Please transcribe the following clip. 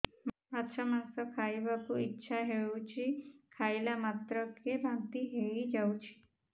ମାଛ ମାଂସ ଖାଇ ବାକୁ ଇଚ୍ଛା ହଉଛି ଖାଇଲା ମାତ୍ରକେ ବାନ୍ତି ହେଇଯାଉଛି